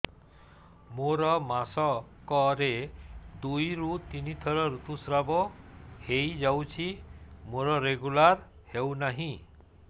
ମୋର ମାସ କ ରେ ଦୁଇ ରୁ ତିନି ଥର ଋତୁଶ୍ରାବ ହେଇଯାଉଛି ମୋର ରେଗୁଲାର ହେଉନାହିଁ